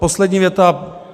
Poslední věta.